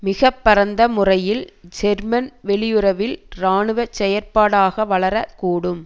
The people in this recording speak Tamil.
மிக பரந்த முறையில் ஜெர்மன் வெளியுறவில் இராணுவ செயற்பாடாக வளரக் கூடும்